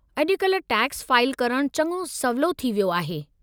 अॼुकल्ह tax file करणु चङो सवलो थी वियो आहे।